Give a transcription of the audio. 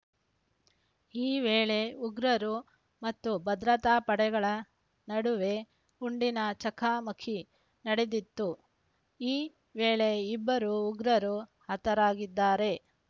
ಈ ವೇಳೆ ಉಗ್ರರು ಮತ್ತು ಭದ್ರತಾ ಪಡೆಗಳ ನಡುವೆ ಗುಂಡಿನ ಚಕಮಕಿ ನಡೆದಿದ್ದು ಈ ವೇಳೆ ಇಬ್ಬರು ಉಗ್ರರು ಹತರಾಗಿದ್ದಾರೆ